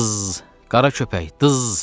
Dız, qara köpək, dız!